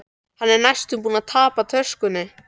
Hann er næstum búinn að tapa töskunni.